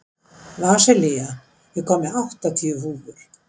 Vasilia, ég kom með áttatíu húfur!